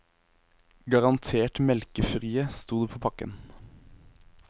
Garantert melkefrie, sto det på pakken.